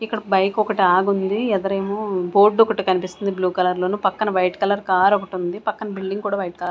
ఇక్కడ బైక్ ఒకటి ఆగుంది యదరేమో బోర్డ్ ఒకటి కన్పిస్తుంది బ్లూ కలర్ లోను పక్కన వైట్ కలర్ కార్ ఒకటుంది పక్కన బిల్డింగ్ కూడా వైట్ కలర్ --